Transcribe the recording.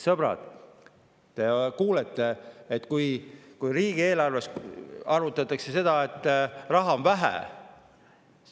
Sõbrad, te kuulete, et riigieelarve puhul arutatakse, et raha on vähe.